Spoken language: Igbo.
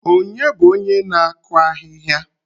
Ònye bụ onye na-akụ ahịhịa?